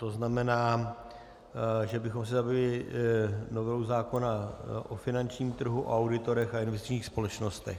To znamená, že bychom se zabývali novelou zákona o finančním trhu, auditorech a investičních společnostech.